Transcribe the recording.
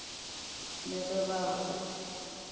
le ge ba re o